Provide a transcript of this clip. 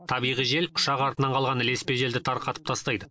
табиғи жел ұшақ артынан қалған ілеспе желді тарқатып тастайды